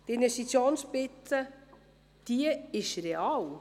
Die Investitionsspitze ist real.